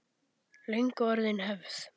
Löngu orðin hefð.